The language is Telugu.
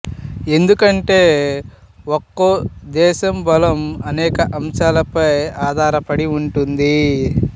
ఎందుకంటే ఒకో దేశం బలం అనేక అంశాలపై ఆధారపడి ఉంటుంది